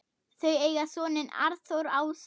Þau eiga soninn Arnþór Ása.